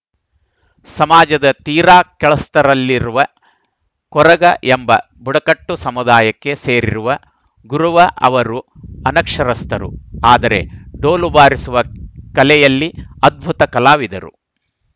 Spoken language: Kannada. ಸಮಾಜದ ತೀರಾ ಕೆಳಸ್ತರದಲ್ಲಿರುವ ಕೊರಗ ಎಂಬ ಬುಡಕಟ್ಟು ಸಮುದಾಯಕ್ಕೆ ಸೇರಿರುವ ಗುರುವ ಅವರು ಅನಕ್ಷರಸ್ಥರು ಆದರೆ ಡೋಲು ಬಾರಿಸುವ ಕಲೆಯಲ್ಲಿ ಅದ್ಭುತ ಕಲಾವಿದರು